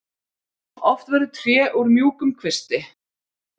Oft verður tré úr mjúkum kvisti.